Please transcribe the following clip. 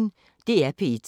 DR P1